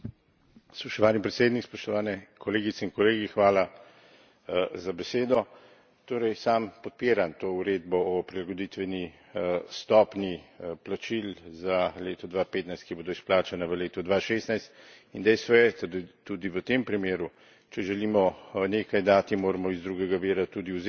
Spoštovani predsednik, spoštovane kolegice in kolegi, hvala za besedo. Torej sam podpiram to uredbo o prilagoditveni stopnji plačil za leto 2015, ki bodo izplačana v letu 2016, in dejstvo je, tudi v tem primeru, če želimo nekaj dati, moramo iz drugega vira tudi vzeti